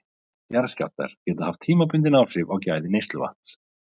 Jarðskjálftar geta haft tímabundin áhrif á gæði neysluvatns.